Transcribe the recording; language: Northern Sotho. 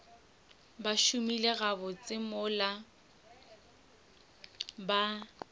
ba šomile gabotse mola ba